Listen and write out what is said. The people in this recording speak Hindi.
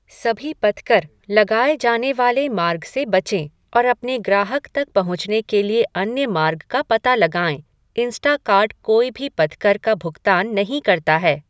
सभी पथकर लगाए जाने वाले मार्ग से बचें और अपने ग्राहक तक पहुँचने के लिए अन्य मार्ग का पता लगाएँ, इंस्टाकार्ट कोई भी पथकर का भुगतान नहीं करता है।